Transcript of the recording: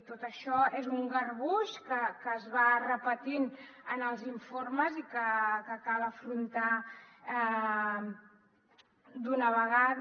tot això és un garbuix que es va repetint en els informes i que cal afrontar d’una vegada